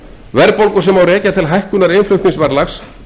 verðbólgu sem má rekja til hækkun innflutningsverðlags